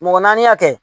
Mɔgɔ naani hakɛ